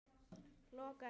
lokar henni.